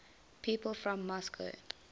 people from moscow